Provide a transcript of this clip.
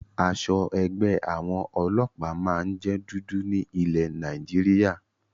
Aṣọ ẹgbẹ́ àwọn ọlọ́pàá máa ń jẹ dúdú ní ilé Nàìjíríà